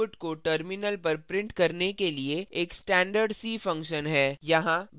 printf output को terminal पर printf करने के लिए एक standard c function है